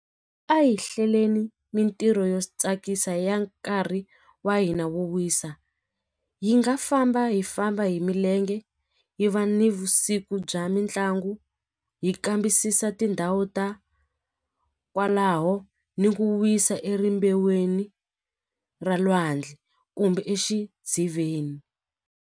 A hi hleleni mintirho yo tsakisa ya nkarhi wa hina wo wisa hi nga famba hi famba hi milenge hi va nivusiku bya mitlangu hi kambisisa tindhawu ta kwalaho ni ku wisa ra lwandle kumbe exidziveni.